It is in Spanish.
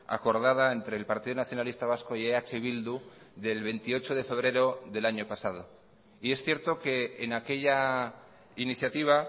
acordada entre el partido nacionalista vasco y eh bildu del veintiocho de febrero del año pasado y es cierto que en aquella iniciativa